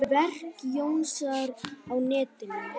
Verk Jónasar á netinu